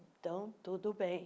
Então, tudo bem.